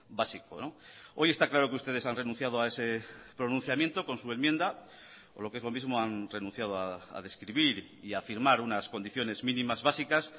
básico hoy está claro que ustedes han renunciado a ese pronunciamiento con su enmienda o lo que es lo mismo han renunciado a describir y a firmar unas condiciones mínimas básicas